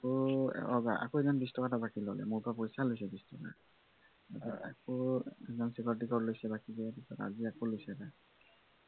আকৌ অ আকৌ এজন বিছটকা এটা হাকী ললে মোৰ পৰা পইচা লৈছে বিছ টকা আকৌ সেইদিনাখন শিৱৰাত্ৰিতো লৈছে বিছ টকা আজি আকৌ লৈছে এটা